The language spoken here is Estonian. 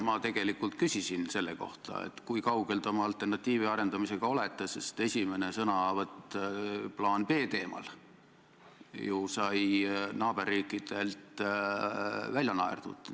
Ma tegelikult küsisin selle kohta, kui kaugel te oma alternatiivi arendamisega olete, sest esimene sõnavõtt plaani B teemal sai ju naaberriikides välja naerdud.